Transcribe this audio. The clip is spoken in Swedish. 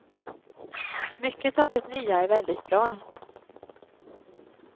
Mycket av det nya är väldigt bra.